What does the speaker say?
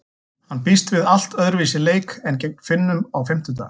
Hann býst við allt öðruvísi leik en gegn Finnum á fimmtudag.